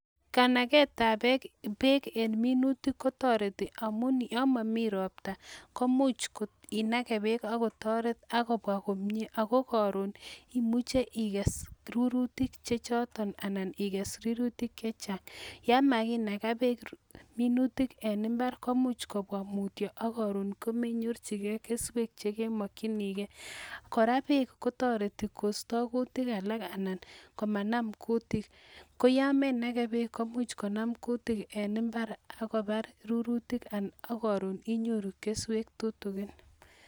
Kanagetab beek en minutik ko toreti, amun yon momi ropta komuch inage beek ak kotoret ak kobwa komye ago koron imuche iges rurutik che choton anan iges rurutik che chang. Yon ma kinaga beek minutik en mbar komuch kobwa mutyo ak koron ko menyorchi ge kesweg che kemokinige, kora beek kotoreti kosto kutik alak anan komanam kutik. Ko yon menage beek komuch konam kutik en mbar ak kobar rurutik ak koron inyoru keswek tutukin.